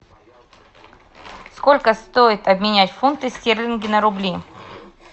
сколько стоит обменять фунты стерлинги на рубли